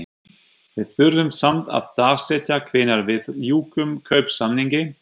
Við þurfum samt að dagsetja hvenær við ljúkum kaupsamningi?